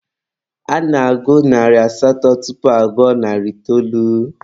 A na-agụ narị asatọ tupu agụọ narị itoolu.